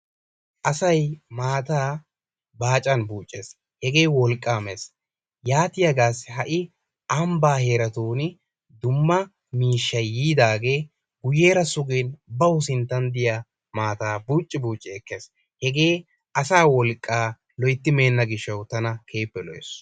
Asay maataa baacan buucces. Hegee wolqqaa mes. Yaatiyagaassi ha'i ambbaa heeratun dumma miishshay yiidaagee guyyeera sugin bawu sinttan diya maataa buucci buucci ekkes. Hegee asaa wolqqaa loyitti meenna gishshawu tana keehippe lo'es.